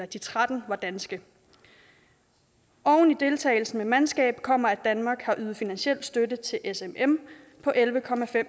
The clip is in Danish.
de tretten var danske oven i deltagelsen af mandskab kommer at danmark har ydet finansiel støtte til smm på elleve